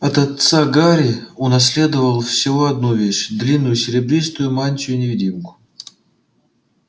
от отца гарри унаследовал всего одну вещь длинную серебристую мантию-невидимку